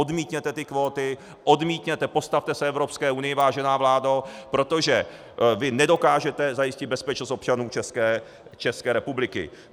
Odmítněte ty kvóty, odmítněte, postavte se Evropské unii, vážená vládo, protože vy nedokážete zajistit bezpečnost občanů České republiky.